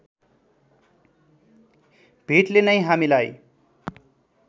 भेटले नै हामीलाई